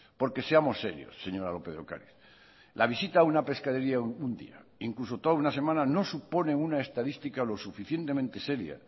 porque seamos serios señora lópez de ocariz la visita a una pescadería un día incluso toda una semana no supone una estadística lo suficientemente seria